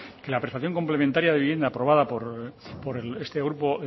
que la prestación complementaria de vivienda aprobada por este grupo